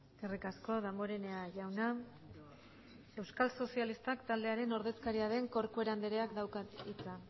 eskerrik asko damborenea jauna euskal sozialistak taldearen ordezkaria den corcuera andereak dauka hitza